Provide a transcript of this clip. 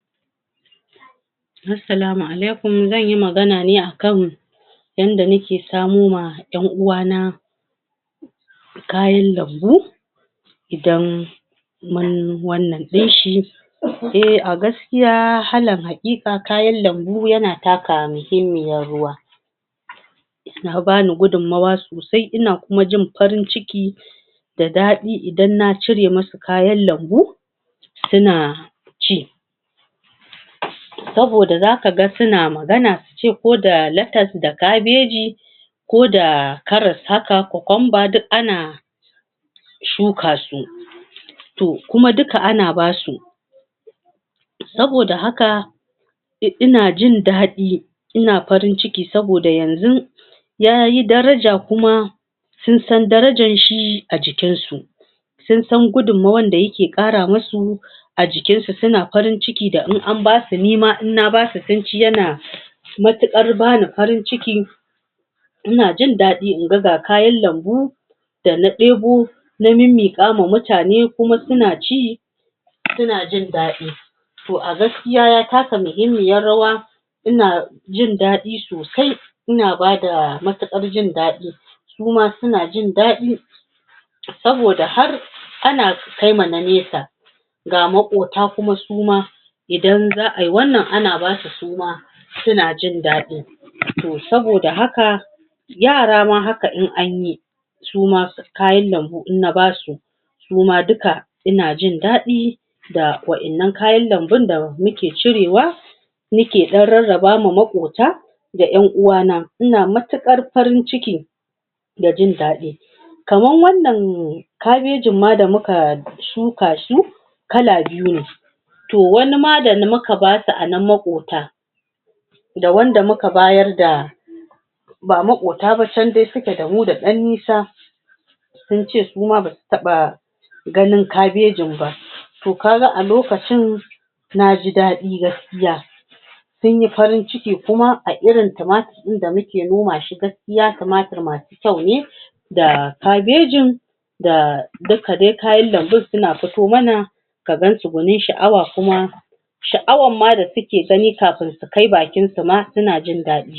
Assalamu alaikum zanyi magana ne akan yanda nake samowa yan uwana kayan lambu idan mun wannan din shi, eh a gaskiya alal hakika ina taka mahimmiyar rawa, suna bani gudunmawa sosae ina kuma jin farin ciki da dadi idan na cire musu kayan lambu suna ci, saboda zaka ga suna magana su ce ko da letas da kabeji, ko da karas haka cucumber, duk ana shuka su, toh kuma duka ana basu, saboda haka ina jin dadi ina farin ciki saboda yanzun yayi daraja kuma sun san darajar shi a cikin su, sun san gudunmawar da yake kara musu a jikin su, suna farin ciki da in an basu, nima in na basu sun ci yana matukar bani farin ciki ina jin dadi in ga kayan lambu Dana debo na mimmiqawa mutane kuma suna ci suna jin dadi, toh a gaskiya ya taka muhimmiyar rawa, ina jin dadi sosai, ina bada matukar jin dadi, su ma suna jin dadi, saboda har ana kaima na nesa, ga makota kuma su ma idan za ayi wannan su ma ana basu suma sunajin dadi, toh saboda haka yara ma haka in anyi su ma kayan lambun in na basu duka ina jin dadi da wadannan kayan lambun da nake cirewa, nake dan rarrabawa makota da yan uwana, ina matukar farin ciki da jin dadi, kamar wannan ma kabejin da muka tsuka shi kala biyu ne toh wasu ma da muka basu anan makota da wanda muka bayar ba makota ba can dai suke da dan nisa sunce su ma basu taba ganin kabejin ba, toh kaga a lokacin naji dadi gaskiya sunyi farin ciki kuma a irin sa ma inda muke noma shi gaskiya kamata masu kyau ne da kabejin da duka dai kayan lambun suna fito mana ka gansu gwanin shaa'awa kuma shaa'awar ma da suke gani kafin su kai bakin su ma suna jin dadi.